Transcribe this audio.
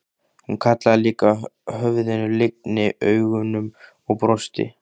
Hún hallaði líka höfðinu, lygndi augunum og brosti.